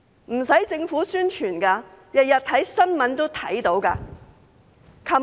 不用政府做宣傳，每天看新聞也會看到。